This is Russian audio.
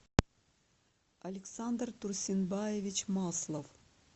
александр турсинбаевич маслов